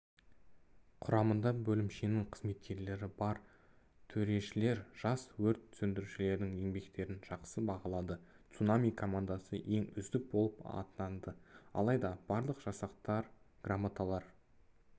құрамында бөлімшенің қызметкерлері бар төрешілер жас өрт сөндірушілердің еңбектерін жақсы бағалады цунами командасы ең үздік болып атанды алайда барлық жасақтар грамоталар